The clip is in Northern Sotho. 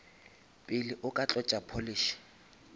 pele o ka tlotša polish